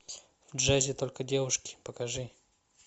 в джазе только девушки покажи